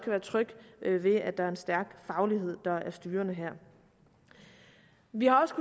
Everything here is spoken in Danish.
være tryg ved at der er en stærk faglighed der er styrende her vi har